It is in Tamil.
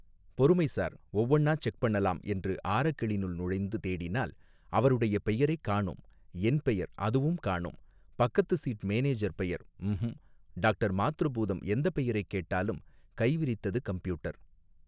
பொறுமை சார் ஒவ்வொண்ணா செக் பண்ணலாம் என்று ஆரக்கிளினுள் நுழைந்து தேடினால் அவருடைய பெயரைக் காணோம் என் பெயர் அதுவும் காணோம் பக்கத்து சீட் மேனேஜர் பெயர் ம்ஹும் டாக்டர் மாத்ருபூதம் எந்த பெயரைக் கேட்டாலும் கைவிரித்தது கம்ப்யூட்டர்.